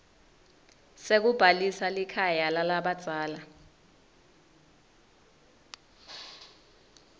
sekubhalisa likhaya lalabadzala